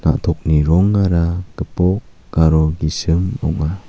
na·tokni rongara gipok aro gisim ong·a.